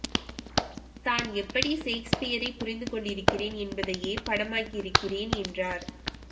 தான் எப்படி ஷேக்ஸ்பியரைப் புரிந்து கொண்டிருக்கிறேன் என்பதையே படமாக்கியிருக்கிறேன் என்றார்